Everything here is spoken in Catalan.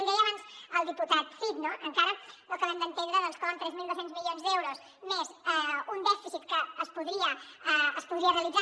l’hi deia abans el diputat cid no encara no acabem d’entendre doncs com amb tres mil dos cents milions d’euros més un dèficit que es podria realitzar